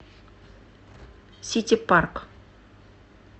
ситипарк